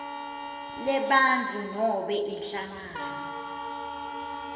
lebantfu noma inhlangano